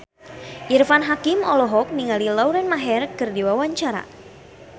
Irfan Hakim olohok ningali Lauren Maher keur diwawancara